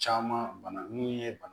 Caman bana mun ye bana